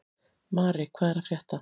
Mari, hvað er að frétta?